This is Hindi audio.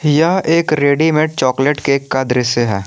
यह एक रेडीमेड चॉकलेट केक का दृश्य है।